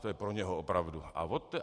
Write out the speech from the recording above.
To je pro něho, opravdu.